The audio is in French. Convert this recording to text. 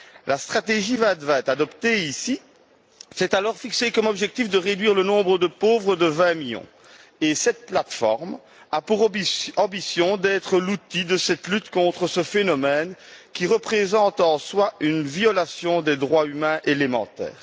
La stratégie 2020 adoptée ici s'est alors fixée comme objectif de réduire le nombre de pauvres de 20 millions et cette plateforme a pour ambition d'être l'outil de cette lutte contre ce phénomène, qui représente en soi une violation des droits humains élémentaires.